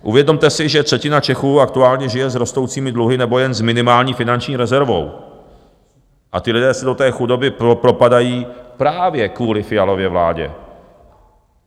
Uvědomte si, že třetina Čechů aktuálně žije s rostoucími dluhy nebo jen s minimální finanční rezervou a ti lidi se do té chudoby propadají právě kvůli Fialově vládě.